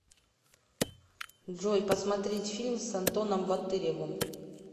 джой посмотреть фильм с антоном ботыревом